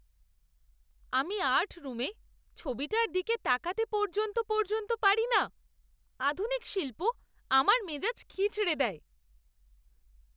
আমি আর্ট রুমে ছবিটার দিকে তাকাতে পর্যন্ত পর্যন্ত পারি না; আধুনিক শিল্প আমার মেজাজ খিঁচড়ে দেয়।